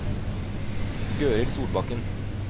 Gøril Solbakken